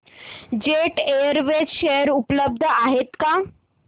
jet Airways share उपलब्ध आहेत का